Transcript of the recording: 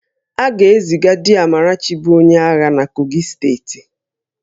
A ga-eziga di Amarachi bụ onye agha na Kogi steeti